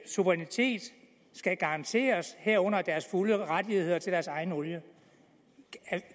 suverænitet skal garanteres herunder deres fulde rettigheder til deres egen olie